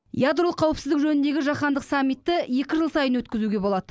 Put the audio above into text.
ядролық қауіпсіздік жөніндегі жаһандық саммитті екі жыл сайын өткізуге болады